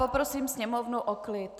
Poprosím sněmovnu o klid!